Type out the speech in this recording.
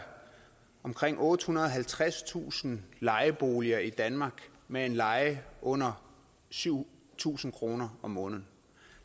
omkring ottehundrede og tredstusind lejeboliger i danmark med en leje under syv tusind kroner om måneden